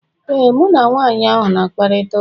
Ee, mụ na nwanyị ahụ na-akparịta ụka